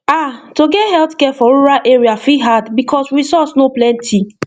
ah to get healthcare for rural area fit hard because resource no plenty